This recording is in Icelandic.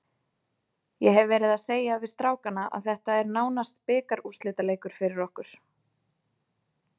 Ég hef verið að segja við strákana að þetta er nánast bikarúrslitaleikur fyrir okkur.